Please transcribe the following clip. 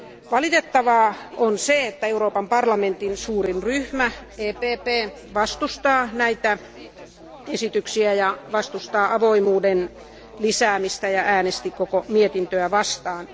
Valitettavaa on se, että Euroopan parlamentin suurin ryhmä EPP vastustaa näitä esityksiä ja vastustaa avoimuuden lisäämistä sekä äänesti koko mietintöä vastaan.